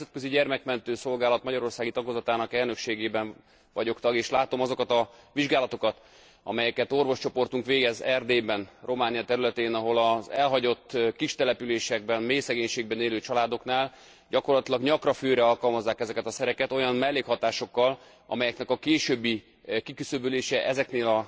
Én a Nemzetközi Gyermekmentő Szolgálat magyarországi tagozatának elnökségében vagyok tag, és látom azokat a vizsgálatokat, amelyeket orvoscsoportunk végez Erdélyben, Románia területén, ahol az elhagyott kistelepüléseken, mélyszegénységben élő családoknál gyakorlatilag nyakra főre alkalmazzák ezeket a szereket olyan mellékhatásokkal, amelyeknek a későbbi kiküszöbölése ezeknél